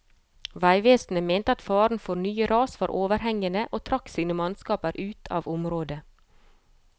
Veivesenet mente at faren for nye ras var overhengende, og trakk sine mannskaper ut av området.